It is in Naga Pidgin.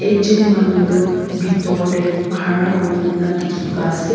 Jen manu tu bhetor tey khara kure kena dekhe pa ase.